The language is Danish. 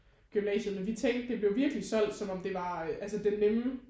Gymnasiet men vi tænkte det blev virkelig solgt som om det var altså den nemme